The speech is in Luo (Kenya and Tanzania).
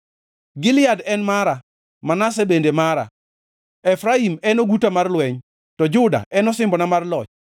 Gilead en mara, Manase bende mara, Efraim en oguta mar lweny, to Juda en osimbona mar loch.